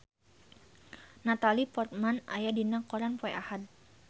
Natalie Portman aya dina koran poe Ahad